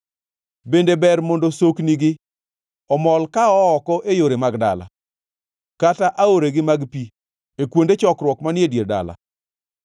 Bende ber mondo soknigi omol ka oo oko e yore mag dala, kata aoregi mag pi e kuonde chokruok manie dier dala?